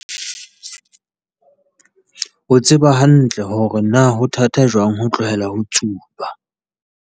o tseba hantle hore na ho thata jwang ho tlohela ho tsuba.